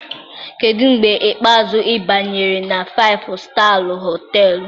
Kedu mgbe ikpeazụ ị banyere na Faịfụ Staa Họtelụ?